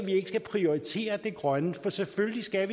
skal prioritere det grønne for selvfølgelig skal